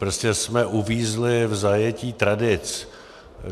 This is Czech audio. Prostě jsme uvízli v zajetí tradic.